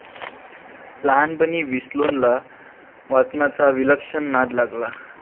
लहानपणी विल्सोनला वाचनाचा विलक्षण नाद लागला.